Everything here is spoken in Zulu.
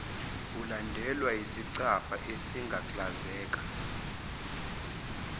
ulandelwa yisicabha esagaklazeka